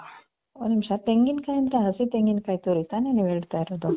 ಒಂದ್ ನಿಮಿಷ ತೆಂಗಿನಕಾಯಿ ಅಂದ್ರೆ ಹಸಿ ತೆಂಗಿನಕಾಯಿ ತುರಿ ತಾನೆ ನೀವ್ ಹೇಳ್ತಾ ಇರೋದು?